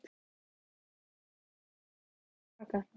Síðan fletti hún myndunum til baka.